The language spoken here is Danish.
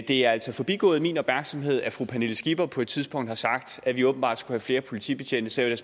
det er altså forbigået min opmærksomhed at fru pernille skipper på et tidspunkt har sagt at vi åbenbart skulle have flere politibetjente så jeg